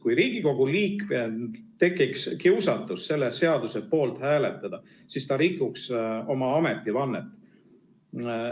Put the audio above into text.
Kui Riigikogu liikmel tekiks kiusatus selle seaduse poolt hääletada, siis ta rikuks oma ametivannet.